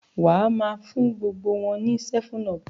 o má fún gbogbo wón ní 7up.